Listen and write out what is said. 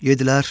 yediler.